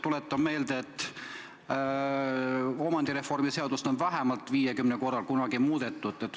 Tuletan meelde, et omandireformi aluste seadust on vähemalt 50 korral kunagi muudetud.